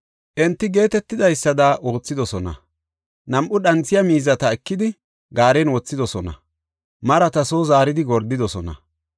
Enti geetetidaysada oothidosona; nam7u dhanthiya miizata ekidi, gaaren waaxidosona; marata soo zaaridi gordidosona.